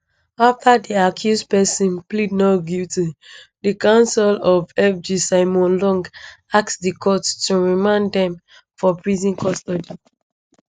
afta di accused pesins plead not guilty di counsel to fg simon long ask di court to remand dem for prison custody